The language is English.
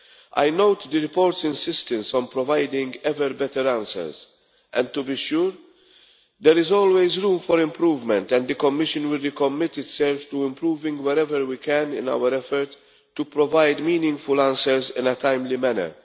I note the report's insistence on providing ever better answers, and to be sure there is always room for improvement and the Commission will recommit itself to improving wherever we can in our effort to provide meaningful answers in a timely manner.